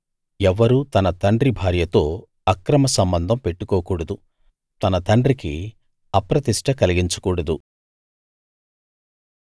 ఎవ్వరూ తన తండ్రి భార్యతో అక్రమ సంబంధం పెట్టుకోకూడదు తన తండ్రికి అప్రతిష్ట కలిగించకూడదు